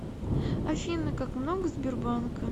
афина как много сбербанка